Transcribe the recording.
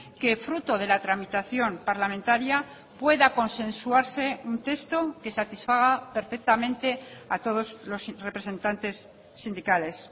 que fruto de la tramitación parlamentaria pueda consensuarse un texto que satisfaga perfectamente a todos los representantes sindicales